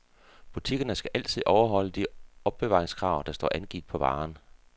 Butikkerne skal altid overholde de overbevaringskrav, der står angivet på varen.